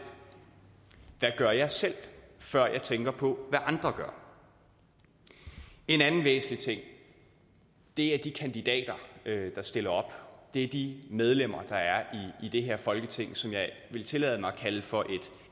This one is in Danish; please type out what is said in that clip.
hvad gør jeg selv før jeg tænker på hvad andre gør en anden væsentlig ting er de kandidater der stiller op det er de medlemmer der er i det her folketing som jeg vil tillade mig at kalde for